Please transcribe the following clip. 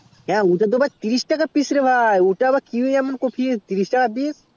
হ্যাঁ ওটা তো আবার তিরিশ টাকা পিস রে ভাই ওটা আবার কি এমন কোপি তিরিশ টাকা পিস